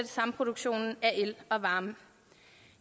samproduktion af el og varme